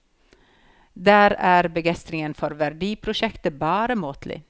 Der er begeistringen for verdiprosjektet bare måtelig.